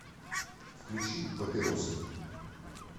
включи папиросы